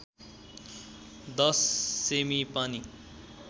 १० सेमि पानी